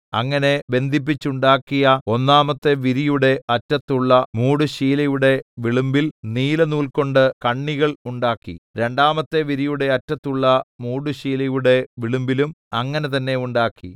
അങ്ങനെ ബന്ധിപ്പിച്ചുണ്ടാക്കിയ ഒന്നാമത്തെ വിരിയുടെ അറ്റത്തുള്ള മൂടുശീലയുടെ വിളുമ്പിൽ നീലനൂൽകൊണ്ട് കണ്ണികൾ ഉണ്ടാക്കി രണ്ടാമത്തെ വിരിയുടെ അറ്റത്തുള്ള മൂടുശീലയുടെ വിളുമ്പിലും അങ്ങനെ തന്നെ ഉണ്ടാക്കി